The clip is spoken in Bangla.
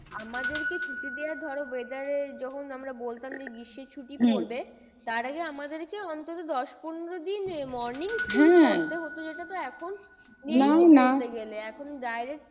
আমাদের কে ছুটি দেওয়া ধরো weather এ যখন আমরা বলতাম যে, গ্রীষ্মর ছুটি পড়বে তার আগে আমাদের কে অন্তত দশ পনেরো দিন morning school করতে হতো। যেটা তো এখন নেই বলতে গেলে এখন direct